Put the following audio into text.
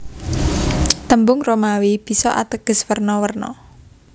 Tembung Romawi bisa ateges werna werna